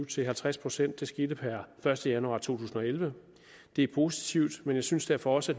til halvtreds procent det skete per første januar to tusind og elleve det er positivt men jeg synes derfor også